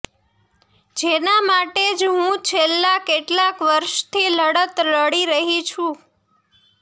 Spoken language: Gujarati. જેના માટે જ હું છેલ્લા કેટલાક વર્ષથી લડત લડી રહી છું